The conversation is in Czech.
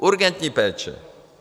Urgentní péče.